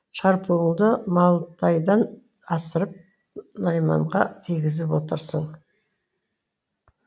шарпуыңды малтайдан асырып найманға тигізіп отырсың